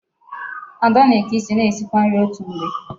Ada na-eke isi na esikwa nri otu mgbe.